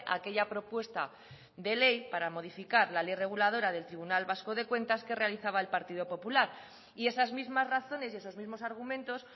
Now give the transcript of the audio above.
a aquella propuesta de ley para modificar la ley reguladora del tribunal vasco de cuentas que realizaba el partido popular y esas mismas razones y esos mismos argumentos